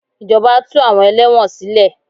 Ìjọba tú àwọn ẹlẹ́wọ̀n sílè.